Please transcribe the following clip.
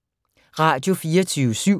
Radio24syv